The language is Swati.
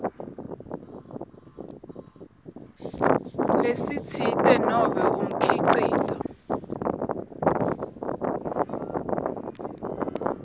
lesitsite nobe umkhicito